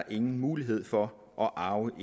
ingen mulighed for at arve